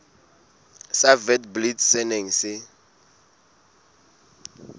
sa witblits se neng se